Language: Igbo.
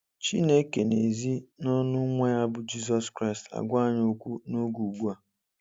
Chineke n'ezi n'ọnụ nwa ya bu Jizọs Kraịst àgwá anyị ókwú n'oge ugbua.